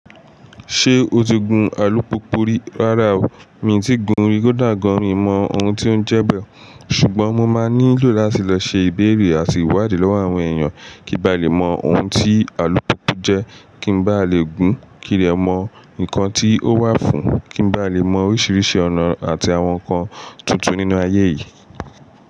Ṣé o ti gun alupupu rí? Rárá o, mi tí ì gun rí, kò dà gan-an mi mọ ohun tí ó ń jẹ bẹ́ẹ̀. Ṣùgbọ́n mo máa nílò láti lọ ṣe ìbéèrè àti ìwádìí lọ́wọ́ àwọn èèyàn kí n ba lè mọ ohun tí alupupu jẹ́, kí n bá lè gun, kí n dẹ mọ nǹkan tí ó wà fún, kí n bá lè mọ oríṣiríṣi ọ̀nà àti àwọn nǹkan tuntun nínú ayé yìí.